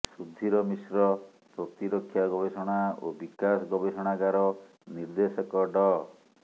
ସୁଧୀର ମିଶ୍ର ପ୍ରତିରକ୍ଷା ଗବେଷଣା ଓ ବିକାଶ ଗବେଷଣାଗାର ନିର୍ଦ୍ଦେଶକ ଡ